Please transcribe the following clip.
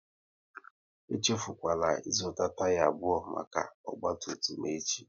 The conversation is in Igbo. Echefukwala ị zụta taya abụọ maka ọgba tum tum echi!